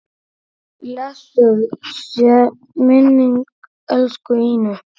Guðjón og Louisa.